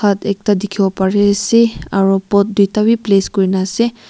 hut ekta dikhiwo pari ase aro pot duita wi place kure na ase.